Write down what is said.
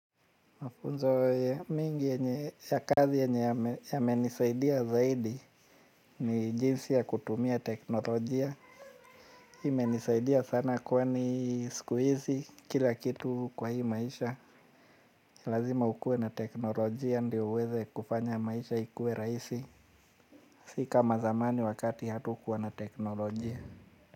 Mafunzo mengi ya kazi yamenisaidia zaidi ni jinsi ya kutumia teknolojia. Hii menisaidia sana kwani siku hizi kila kitu kwa hii maisha. Ya lazima ukuwe na teknolojia ndio uweze kufanya maisha ikuwe rahisi. Si ka zamani wakati hatukuwa na teknolojia.